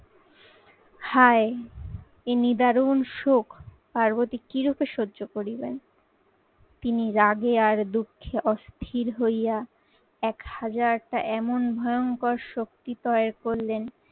হায় এ নিদারুন সুখ, পার্বতী কিরূপে সহ্য করিবে? তিনি রাগে আর দুঃখে অস্থির হইয়া এক হাজারটা এমন ভয়ঙ্কর শক্তি তয় করলেন